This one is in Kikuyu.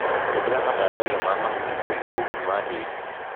Hũthĩra matandaiyo ma mahuti kũiga ũgunyu wa tĩri.